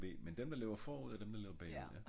ik a og b mnn dem der lever forud og dem der lever bagud ja